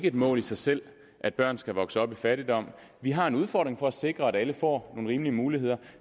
et mål i sig selv at børn skal vokse op i fattigdom vi har en udfordring i at sikre at alle får nogle rimelige muligheder